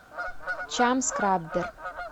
чам скраббер